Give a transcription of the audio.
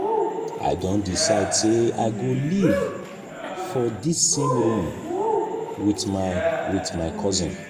i don decide sey i go live for dis same room wit my wit my cousin.